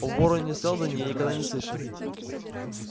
о вороне-сэлдоне я никогда и не слышал